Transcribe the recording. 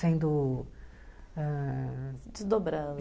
sendo. ãh.. Desdobrando.